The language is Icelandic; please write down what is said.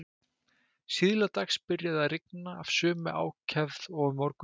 Síðla dags byrjaði að rigna af sömu ákefð og um morguninn.